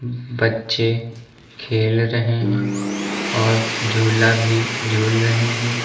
बच्चे खेल रहे हैं और झूला भी झूल रहे हैं।